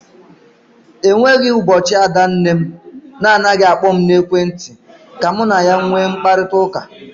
E nweghi ụbọchị ada nne m na anaghị akpọ m n'ekwenti ka mụ na ya nwee mkparịkọtaụka.